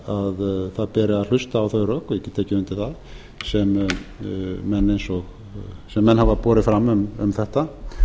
það er það beri að hlusta á þau rök ég get tekið undir það sem menn hafa borið fram um þetta ég